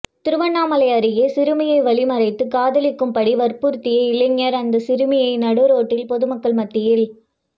திருவண்ணாமலை அருகே சிறுமியை வழிமறித்து காதலிக்கும் படி வற்புறுத்திய இளைஞர் அந்த சிறுமியை நடுரோட்டில் பொதுமக்கள் மத்தியில்